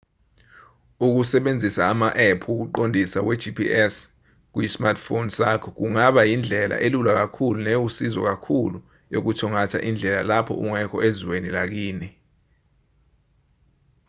ukusebenzisa ama-app wokuqondisa we-gps kuyi-smartphone sakho kungaba yindlela elula kakhulu newusizo kakhulu yokuthungatha indlela lapho ungekho ezweni lakini